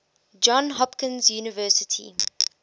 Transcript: johns hopkins university